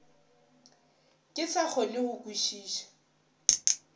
ke sa kgone go kwešiša